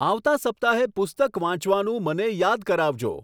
આવતા સપ્તાહે પુસ્તક વાંચવાનું મને યાદ કરાવજો